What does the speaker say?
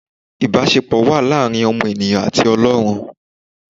Ìbásepọ̀ wà láàrin ọmọ ènìyàn àti Ọlọ́run